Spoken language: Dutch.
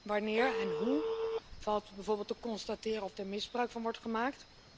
Wanneer en hoe valt bijvoorbeeld te constateren of er misbruik van wordt gemaakt?